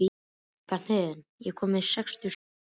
Bjarnhéðinn, ég kom með sextíu og sjö húfur!